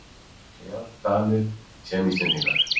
Jafnt Danir sem Íslendingar.